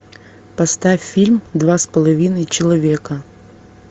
поставь фильм два с половиной человека